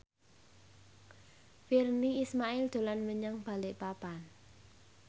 Virnie Ismail dolan menyang Balikpapan